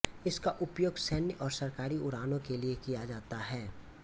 इसका उपयोग सैन्य और सरकारी उड़ानों के लिए किया जाता है